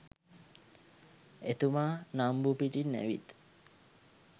එතුමා නම්බු පිටින් ඇවිත්